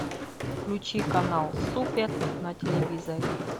включи канал супер на телевизоре